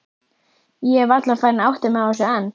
Ég er varla farin að átta mig á þessu enn.